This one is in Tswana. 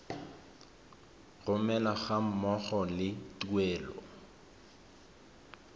romelwa ga mmogo le tuelo